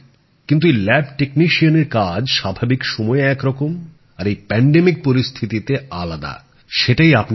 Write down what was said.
কিন্তু এই lab technician এর কাজ স্বাভাবিক সময়ে একরকম আর এই মহামারীর পরিস্থিতিতে আলাদা সেটাই আপনি করছেন